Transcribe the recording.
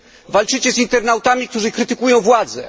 walczycie z internautami, którzy krytykują władzę.